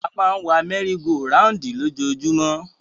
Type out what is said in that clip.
A máa ń wa mẹ́rí go raùǹdì lójoojúmọ́.